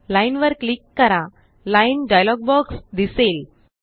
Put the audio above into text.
line वर click करा line dialog box दिसेल